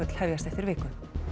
hefjast eftir viku